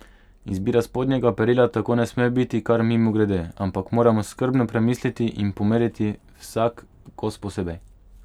Izbira spodnjega perila tako ne sme biti kar mimogrede, ampak moramo skrbno premisliti in pomeriti vsak kos posebej.